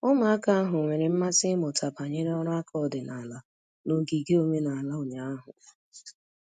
Ụmụaka ahụ nwere mmasị ịmụta banyere ọrụ aka ọdịnala n'ogige omenala ụnyahụ.